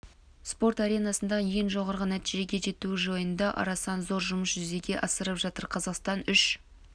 спорт аренасындағы ең жоғары нәтижеге жетуі жайында орасан зор жұмыс жүзеге асырып жатыр қазақстан үш